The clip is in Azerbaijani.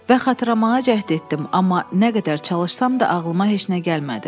Və xatırlamağa cəhd etdim, amma nə qədər çalışsam da ağlıma heç nə gəlmədi.